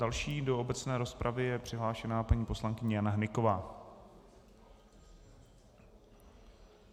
Další do obecné rozpravy je přihlášená paní poslankyně Jana Hnyková.